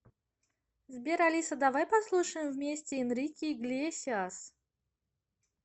сбер алиса давай послушаем вместе энрике иглесиас